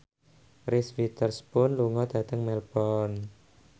Reese Witherspoon lunga dhateng Melbourne